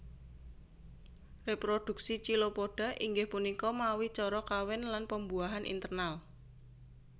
Reprodhuksi Chilopoda inggih punika mawi cara kawin lan pembuahan internal